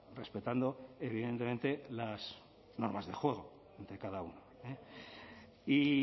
respetando evidentemente las normas de juego de cada uno y